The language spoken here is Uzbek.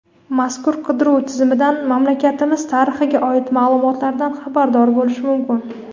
mazkur qidiruv tizimidan mamlakatimiz tarixiga oid ma’lumotlardan xabardor bo‘lish mumkin.